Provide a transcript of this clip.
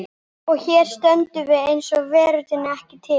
Og hér stöndum við eins og veröldin sé ekki til.